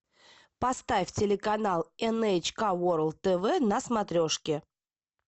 поставь телеканал эн эйч ка ворлд тв на смотрешке